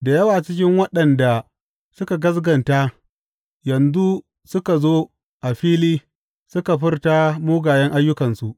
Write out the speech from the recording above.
Da yawa cikin waɗanda suka gaskata yanzu suka zo a fili suka furta mugayen ayyukansu.